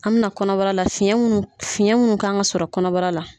An mɛ na kɔnɔbara la fiyɛn mun fiyɛn mun kan ka sɔrɔ kɔnɔbara la.